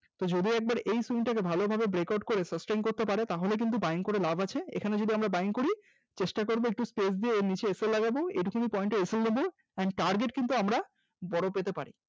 যদিও একবার এই swing টাকে ভালোভাবে Break out করে sustain করতে পারে তাহলে কিন্তু Buying করে লাভ আছে, এখানে যদি আমরা Buying করি চেষ্টা করব একটু space দিয়ে sl লাগাবো, এটুকু point এর sl নেব and target কিন্তু আমরা বড় পেতে পারি